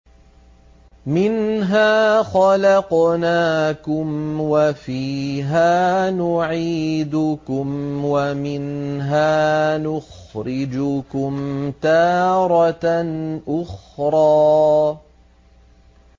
۞ مِنْهَا خَلَقْنَاكُمْ وَفِيهَا نُعِيدُكُمْ وَمِنْهَا نُخْرِجُكُمْ تَارَةً أُخْرَىٰ